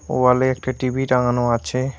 ওয়ালে একটি টি_ভি টাঙ্গানো আছে।